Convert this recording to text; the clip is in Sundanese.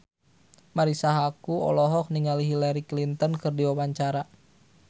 Marisa Haque olohok ningali Hillary Clinton keur diwawancara